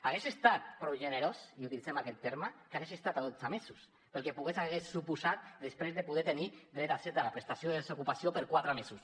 hagués estat prou generós i utilitzem aquest terme que hagués estat a dotze mesos perquè podria haver suposat després poder tenir dret a accés a la prestació de desocupació per quatre mesos